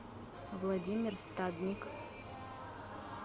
владимир стадник